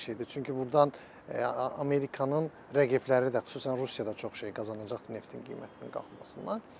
Çünki burdan Amerikanın rəqibləri də, xüsusən Rusiyada çox şey qazanacaqdır neftin qiymətinin qalxmasından.